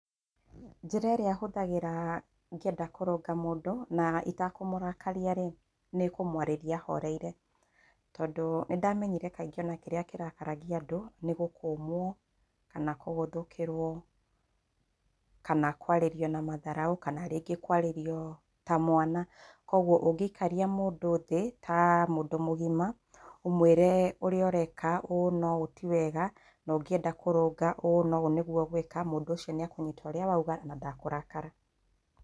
Njĩra ĩrĩa hũthagĩra ngĩenda kũrũnga mũndũ na itakũmũrakaria rĩ, nĩ kũmũarĩria horeire. Tondũ nĩ ndamenyire kaingĩ o na kĩrĩa kĩrakaragia andũ, nĩ gũkũmwo, kana kũgũthũkĩrwo, kana kũarĩrio na matharaũ, kana rĩngĩ kũarĩrio ta mwana. Kũoguo ũngĩikaria mũndũ thĩ, ta mũndũ mũgima, ũmwĩre ũrĩa ũreka ũũ na ũũ, ti wega, na ũngĩenda kũrũnga, ũũ na ũũ nĩguo ũgwĩka, mũndu ũcio nĩ ekũnyita ũrĩa wauga na ndakũrakara.